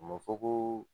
A ma fɔ ko